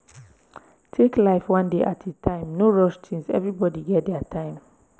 take life one day at a time no rush things everbody get their time